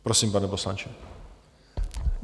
Prosím, pane poslanče.